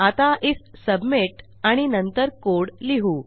आता IF submit आणि नंतर कोड लिहू